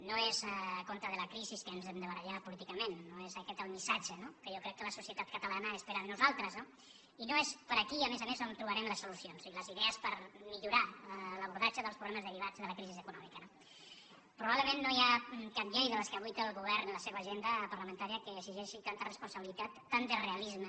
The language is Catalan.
no és contra la crisi que ens hem de barallar políticament no és aquest el missatge que jo crec que la societat catalana espera de nosaltres no i no és per aquí a més a més on trobarem les solucions i les idees per millorar l’abordatge dels problemes derivats de la crisi econòmica no probablement no hi ha cap llei de les que avui té el govern en la seva agenda parlamentària que exigeixi tanta responsabilitat tant de realisme